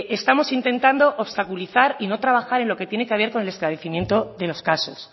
estamos intentando obstaculizar y no trabajar en lo que tiene que haber con el esclarecimiento de los casos